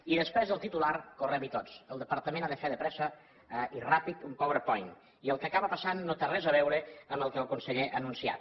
i després del titular correm hi tots el departament ha de fer de pressa i ràpid un power point i el que acaba passant no té res a veure amb el que el conseller ha anunciat